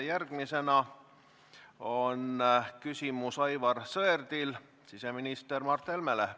Järgmisena on Aivar Sõerdil küsimus siseminister Mart Helmele.